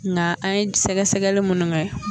Nka an ye sɛgɛsɛgɛli munnu kɛ.